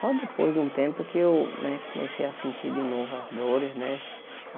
Só depois de um tempo que eu né comecei a sentir de novo as dores, né?